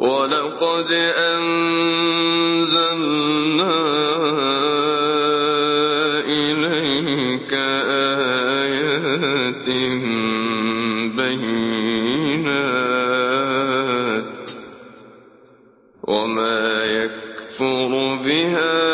وَلَقَدْ أَنزَلْنَا إِلَيْكَ آيَاتٍ بَيِّنَاتٍ ۖ وَمَا يَكْفُرُ بِهَا